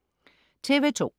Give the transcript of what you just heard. TV2: